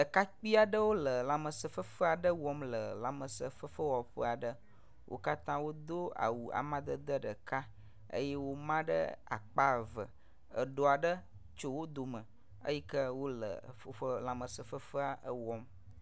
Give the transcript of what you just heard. Ɖekakpui aɖewo le lãmesẽfefe aɖe wɔm le lãmesẽfefe wɔƒe aɖe, Wo katã wodo awu ƒomevi ɖeka aɖe eye wo, ma ɖe akpa eve. Eɖɔ aɖe tso wo dome eyi ke wole woƒe lãmesẽ fefea wɔm.